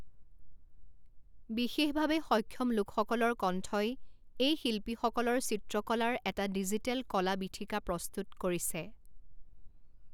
বিশেষভাৱে সক্ষম লোকসকলৰ কণ্ঠই এই শিল্পীসকলৰ চিত্ৰকলাৰ এটা ডিজিটেল কলা বিথীকা প্ৰস্তুত কৰিছে।